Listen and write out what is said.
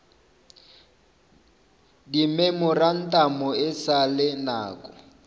dimemorantamo e sa le nako